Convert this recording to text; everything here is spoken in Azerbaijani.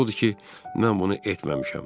Əsas odur ki, mən bunu etməmişəm.